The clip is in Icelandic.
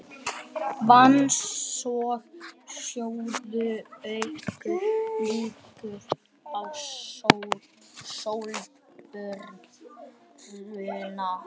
Vatns- og sjóböð auka líkur á sólbruna.